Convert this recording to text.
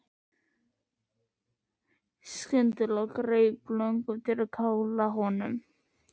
Og skyndilega greip þig löngun til að kála honum.